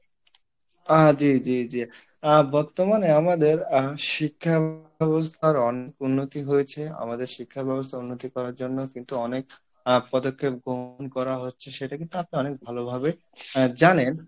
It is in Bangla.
আহ জি জি জি আহ বর্তমানে আমাদের আহ শিক্ষা ব্যবস্থার অনেক উন্নতি হয়েছে আমাদের শিক্ষা ব্যবস্থা উন্নতি করার জন্য কিন্তু অনেক আহ পদক্ষেপ গ্রহণ করা হচ্ছে সেটা কিন্তু আপনি অনেক ভালো ভাবে জানেন